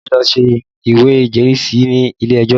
Bísí lọ ṣe ìwé ìjẹ́rìísí ni ilé ejó